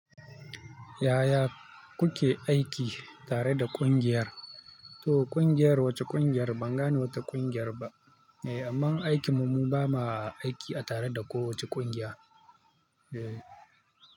Yaya kuke aiki tare da ƙungiyar, to ƙungiyar wacce ƙungiyar? Ban gane wate ƙungiyar ba eh, amma aikinmu mu bama aiki a tare da kowacce ƙungiya. Eh.